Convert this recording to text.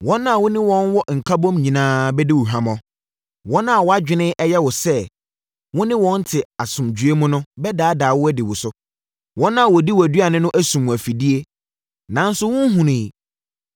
Wɔn a wo ne wɔn wɔ nkabom nyinaa bɛdi wo hwammɔ. Wɔn a wʼadwene yɛ wo sɛ wo ne wɔn te asomdwoeɛ mu no bɛdaadaa wo adi wo so, wɔn a wɔdi wʼaduane no asum wo afidie, nanso, wonhunuiɛ.